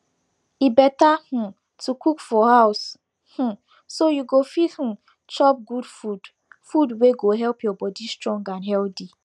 e better um to cook for house um so you go fit um chop good food food wey go help your body strong and healthy